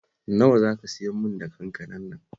Nawa za ka siyarmin da kankanar nan?